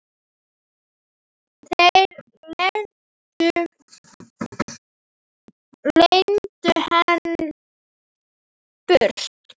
Þeir leiddu hann burt.